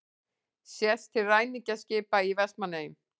Sést til ræningjaskipa í Vestmannaeyjum.